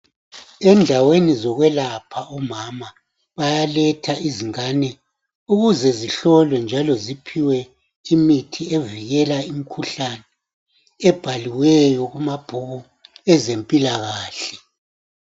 Endaweni zokwelapha omama bayaletha izingane ukuze zihlolwe njalo ziphiwe imithi evikela imikhuhlane ebhaliweyo kumabhuku ezempilakahle.